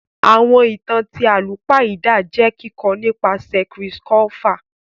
Ìwé ìtàn ti àlùpàídà jẹ kikọ nìpasẹ̀ Chris Colfer.